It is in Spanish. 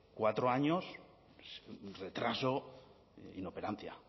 cuatro años retraso inoperancia